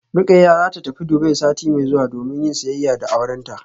Rukayya zata tafi Dubai sati mai zuwa domin yin siyayya da aurenta